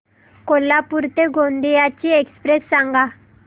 कोल्हापूर ते गोंदिया ची एक्स्प्रेस सांगा